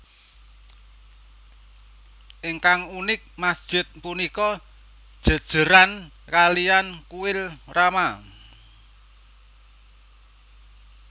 Ingkang unik masjid punika jéjéran kaliyan kuil rama